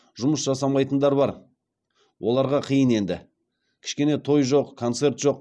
жұмыс жасамайтындар бар оларға қиын енді кішкене той жоқ концерт жоқ